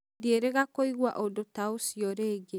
Ndirenda kũigua undu ta ũcio rĩngĩ.